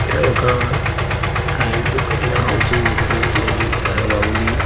ఇక్కడ ఒక రైతు కట్టిన హౌస్ ఒకటి ఉందండి చాలా బాగుంది.